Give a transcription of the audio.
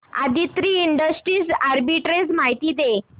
Aditri industries arbitrage माहिती दे